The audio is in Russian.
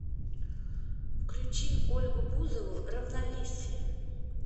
включи ольгу бузову равновесие